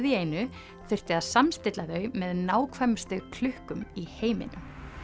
í einu þurfti að samstilla þau með nákvæmustu klukkum í heiminum